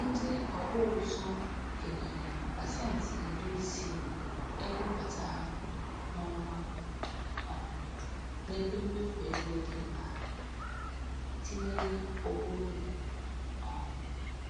Ndị ọkpụ ụzụ kenyere pasenti iri isii ego mbata ha n'ọnwa um n'ebe mmefu ego di mkpa tinyere ụgwọ ụlọ. um